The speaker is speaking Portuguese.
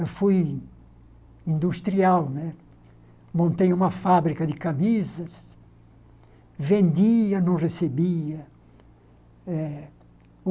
Eu fui industrial né, montei uma fábrica de camisas, vendia, não recebia.